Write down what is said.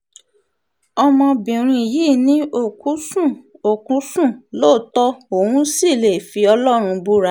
ọmọbìnrin yìí ni òkú sùn òkú sùn lóòótọ́ òun sì lè fi ọlọ́run búra